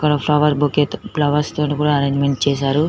ఇక్కడ flower bouquet తో flowers తో ని కూడా ఏరెంజ్మెంట్ చేసారు.